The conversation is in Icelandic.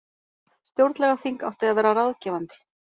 Stjórnlagaþing átti að vera ráðgefandi